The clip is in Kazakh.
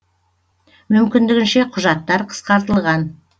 мүмкіндігінше құжаттар қысқартылған